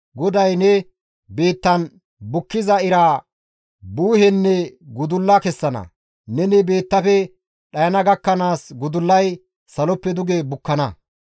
GODAY ne biittan bukkiza iraa buuhenne gudulla kessana; neni biittafe dhayana gakkanaas gudullay saloppe duge bukkana.